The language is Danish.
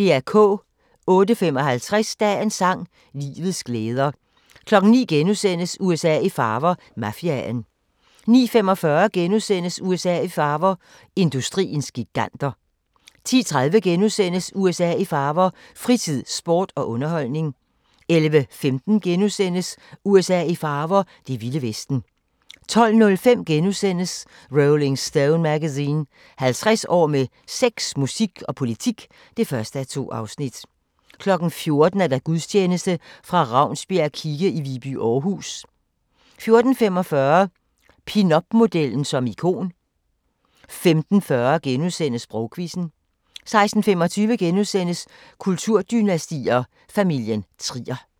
08:55: Dagens sang: Livets glæder 09:00: USA i farver – Mafiaen * 09:45: USA i farver – industriens giganter * 10:30: USA i farver – fritid, sport og underholdning * 11:15: USA i farver – det vilde vesten * 12:05: Rolling Stone Magazine: 50 år med sex, musik og politik (1:2)* 14:00: Gudstjeneste fra Ravnsbjerg kirke i Viby, Aarhus 14:45: Pinupmodellen som ikon 15:40: Sprogquizzen * 16:25: Kulturdynastier: Familien Trier *